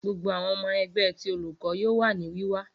Gbogbo awọn ọmọ ẹgbẹ ti Oluko yoo wa ni wiwa.